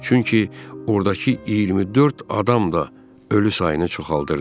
Çünki ordakı 24 adam da ölü sayını çoxaldırdı.